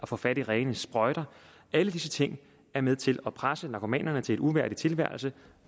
få fat i rene sprøjter alle disse ting er med til at presse narkomanerne til en uværdig tilværelse